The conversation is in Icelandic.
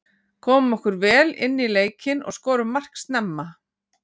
Komum okkur vel inní leikinn og skorum mark snemma.